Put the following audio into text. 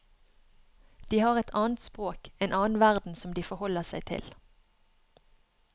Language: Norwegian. De har et annet språk, en annen verden som de forholder seg til.